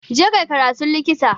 Je kai karatun Likita